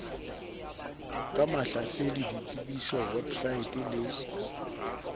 ka mahlasedi detsebiso weposaete le